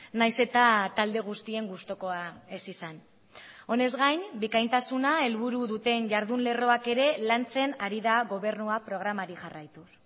nahiz eta talde guztien gustukoa ez izan honez gain bikaintasuna helburu duten jardun lerroak ere lantzen ari da gobernua programari jarraituz